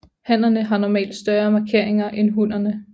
Hannerne har normalt større markeringer end hunnerne